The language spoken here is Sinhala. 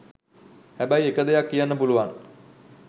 හැබැයි එක දෙයක් කියන්න පුළුවන්